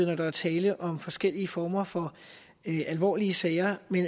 når der er tale om forskellige former for alvorlige sager